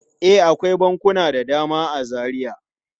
E, akwai bankuna da dama a Zaria.